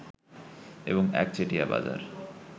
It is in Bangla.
এবং একচেটিয়া বাজার